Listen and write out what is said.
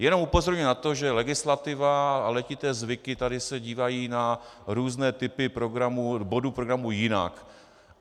Jenom upozorňuji na to, že legislativa a letité zvyky tady se dívají na různé typy bodů programu jinak.